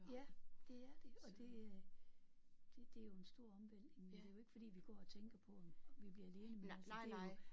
Ja det er det og det. Det det er jo en stor omvæltning men det er jo ikke fordi vi går og tænker på om om vi bliver alene men altså det er jo